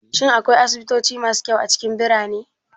Shin akwai asibitoci masu kyau a cikin birane?